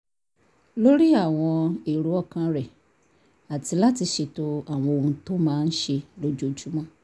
lórí àwọn èrò ọkàn rẹ̀ àti láti ṣètò àwọn ohun tó máa ṣe lójoojúmọ́